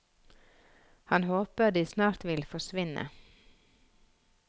Han håper de snart vil forsvinne.